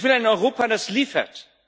Ich will ein Europa, das liefert.